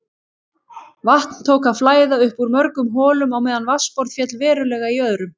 Vatn tók að flæða upp úr mörgum holum á meðan vatnsborð féll verulega í öðrum.